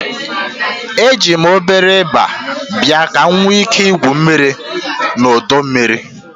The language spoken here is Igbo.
Eji m obere iba bịa ka m nwee ike igwu mmiri na ọdọ mmiri.